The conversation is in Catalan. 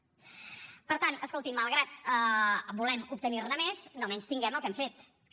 per tant escolti’m malgrat que volem obtenir ne més no menystinguem el que hem fet que